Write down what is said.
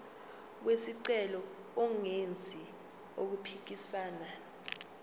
wesicelo engenzi okuphikisana